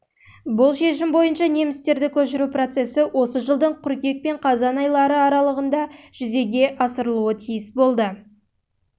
бұл шешім бойынша немістерді көшіру процесі осы жылдың қыркүйек пен қазан күндері арлығында жүзеге асырылуы тиіс